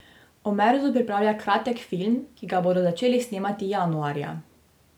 Omerzu pripravlja kratek film, ki ga bodo začeli snemati januarja.